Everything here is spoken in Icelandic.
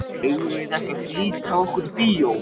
Eigum við ekki að flýta okkur í bíó?